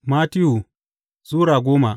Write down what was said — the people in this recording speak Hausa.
Mattiyu Sura goma